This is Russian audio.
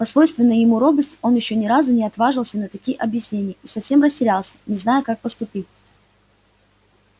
по свойственной ему робости он ещё ни разу не отваживался на такие объяснения и совсем растерялся не зная как поступить